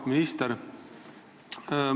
Auväärt minister!